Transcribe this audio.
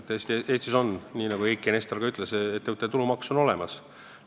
Eestis on, nii nagu Eiki Nestor juba ütles, ettevõtte tulumaks olemas.